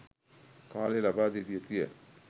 කාලය ලබාදිය යුතුය